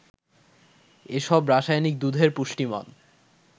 এসব রাসায়নিক দুধের পুষ্টিমান